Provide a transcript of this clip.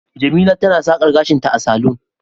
jemila tana sakar gashinta a salon